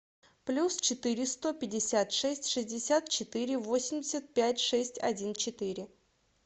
плюс четыре сто пятьдесят шесть шестьдесят четыре восемьдесят пять шесть один четыре